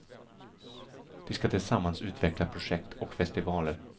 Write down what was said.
De ska tillsammans utveckla projekt och festivaler.